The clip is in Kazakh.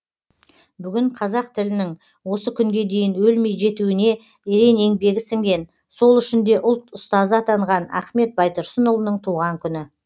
бүгін қазақ тілінің осы күнге дейін өлмей жетуіне ерен еңбегі сіңген сол үшін де ұлт ұстазы атанған ахмет байтұрсынұлының туған күні